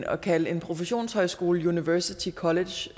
at kalde en professionshøjskole university college